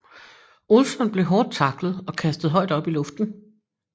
Olsson blev hårdt taklet og kastet højt op i luften